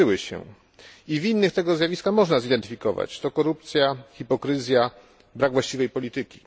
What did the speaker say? Winnych tego zjawiska można zidentyfikować to korupcja, hipokryzja, brak właściwej polityki.